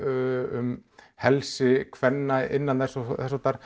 um helsi kvenna innan þess og þess háttar